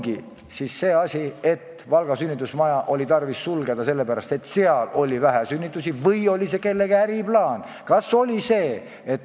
Kas äkki ongi nii, et Valga sünnitusosakonda polnud tarvis sulgeda sellepärast, et seal oli vähe sünnitusi, vaid see oli hoopis kellegi äriplaan?